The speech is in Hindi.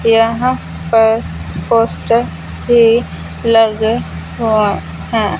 यहाँ पर भी लगे हुए हैं।